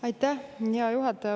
Aitäh, hea juhataja!